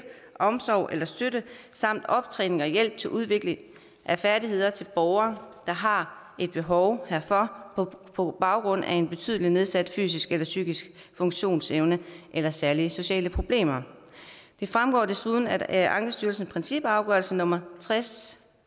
omsorg eller støtte samt optræning og hjælp til udvikling af færdigheder til borgere der har behov herfor på baggrund af en betydelig nedsat fysisk eller psykisk funktionsevne eller særlige sociale problemer det fremgår desuden af ankestyrelsens principafgørelse nummer tres